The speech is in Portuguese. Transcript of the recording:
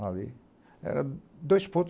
A ê era dois ponto